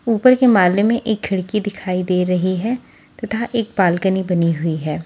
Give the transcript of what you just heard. ऊपर के माले में एक खिड़की दिखाई दे रही है तथा एक बालकनी बनी हुई है।